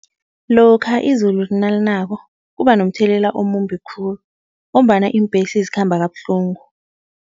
Lokha izulu nalinako, kuba nomthelela omumbi khulu ngombana iimbhesi zikhamba kabuhlungu.